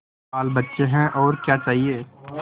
बालबच्चे हैं और क्या चाहिए